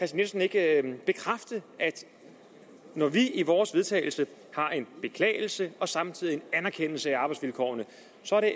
jensen ikke bekræfte at når vi i vores vedtagelse har en beklagelse og samtidig en anerkendelse af arbejdsvilkårene